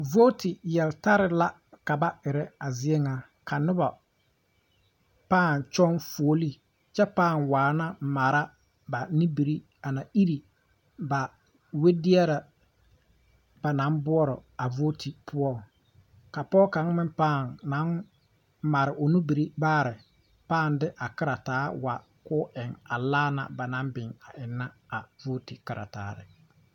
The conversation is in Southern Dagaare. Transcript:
Nobɔ mine la be ba yiri poɔŋ a nobɔ ŋa naŋ are pɔgebɔ la a pɔgɔ pɔgɔ kaŋ pãã tare la saare a piirɛ a yiri kyɛ ka a pɔɔbɔ bayi mine meŋ pãã are pɛgrɛ laare naŋ biŋ teŋɛŋ.